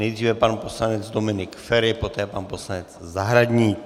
Nejdřív pan poslanec Dominik Feri, poté pan poslanec Zahradník.